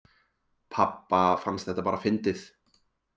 Pabba fannst þetta bara fyndið